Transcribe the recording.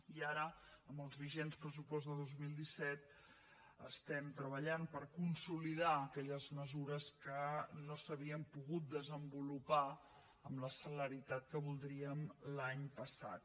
i ara amb els vigents pressupostos del dos mil disset estem treballant per consolidar aquelles mesures que no s’havien pogut desenvolupar amb la celeritat que voldríem l’any passat